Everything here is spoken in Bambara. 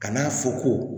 Ka n'a fɔ ko